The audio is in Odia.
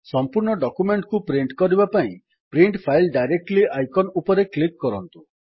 ସମ୍ପୂର୍ଣ୍ଣ ଡକ୍ୟୁମେଣ୍ଟ୍ କୁ ପ୍ରିଣ୍ଟ୍ କରିବା ପାଇଁ ପ୍ରିଣ୍ଟ ଫାଇଲ୍ ଡାଇରେକ୍ଟଲି ଆଇକନ୍ ଉପରେ କ୍ଲିକ୍ କରନ୍ତୁ